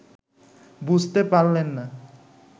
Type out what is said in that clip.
বুঝতে পারলেন না